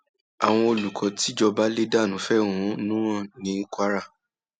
àwọn olùkọ tìjọba lè dánú fẹhónú hàn ní kwara